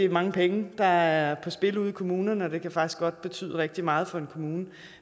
mange penge der er på spil ude i kommunerne og det kan faktisk godt betyde rigtig meget for en kommune